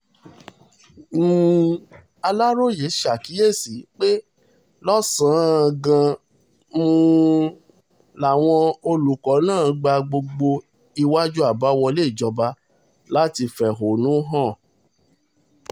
um aláròye ṣàkíyèsí pé lọ́sàn-án um gangan làwọn olùkọ́ náà gba gbogbo iwájú àbáwọlé ilé ìjọba láti fẹ̀hónú hàn